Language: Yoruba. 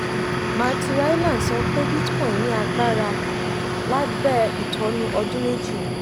matthew hyland sọ pé bitcoin ní agbára lábẹ́ ìtọ́́ni ọdún méjì.